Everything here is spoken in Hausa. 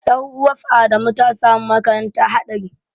Ƴar'uwaf Adamu ta samu makanta haɗari.